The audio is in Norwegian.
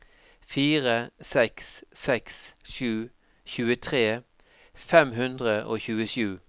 fire seks seks sju tjuetre fem hundre og tjuesju